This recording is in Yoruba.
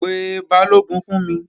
Pe Balógun fún mi!